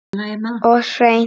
Og hreint.